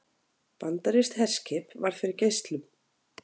Bandarískt herskip varð fyrir geislum